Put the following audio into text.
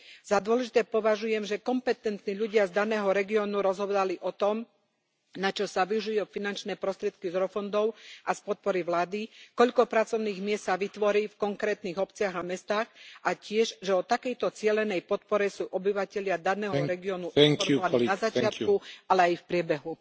Za dôležité považujem, že kompetentní ľudia z daného regiónu rozhodovali o tom, na čo sa využijú finančné prostriedky z eurofondov a z podpory vlády, koľko pracovných miest sa vytvorí v konkrétnych obciach a mestách, a tiež, že o takejto cielenej podpore sú obyvatelia daného regiónu informovaní na začiatku, ale aj v priebehu.